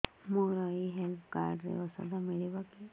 ମୋର ଏଇ health card ରେ ଔଷଧ ମିଳିବ କି